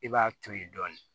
I b'a to ye dɔɔni